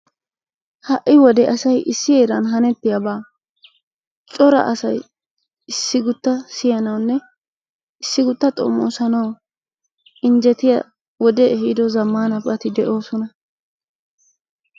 Ha'i wode asay issi heeran hanetiyabaa cora asay issi kuttan siyanwunne issi kutta xommoossanaawu injjetiya wodee ehiiddo zammanabati de'oosona.